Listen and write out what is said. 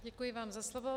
Děkuji vám za slovo.